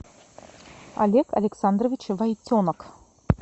олег александрович войтенок